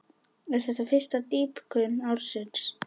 Er þetta fyrsta dýpkun ársins.